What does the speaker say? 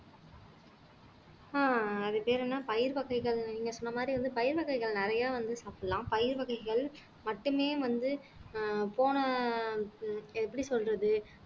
அஹ் அது பேரு என்ன பயிர் வகைகள் நீங்க சொன்ன மாதிரி வந்து பயிர் வகைகள் நிறைய வந்து சாப்பிடலாம் பயிர் வகைகள் மட்டுமே வந்து ஆஹ் போன எப்படி சொல்றது